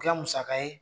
Kɛ musaka ye